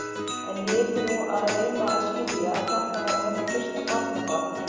En ég yrði nú að reyna að skilja, að þetta væri hennar fyrsta barnabarn og.